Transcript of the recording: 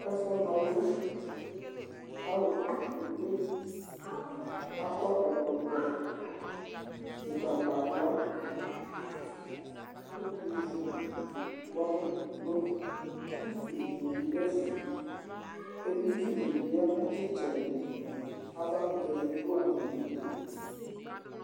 Ɛfʋna ɔlʋ Alʋ kɔ kpekpe, akɔ ɛkɔtɔ ʋgbatawla kʋ ivu, ʋkpɔnʋ dʋ, utu dɩnɩ bɩ dʋ ɛfɛ Editsu dɩ bɩ ya nʋ ɩtsɛdɩ, avakʋtɛ dɩ bɩ dʋ atamɩdu